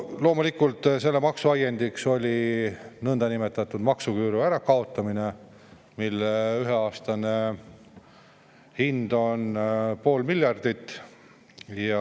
Loomulikult oli selle maksu ajendiks nõndanimetatud maksuküüru ärakaotamine, mille ühe aasta hind on pool miljardit.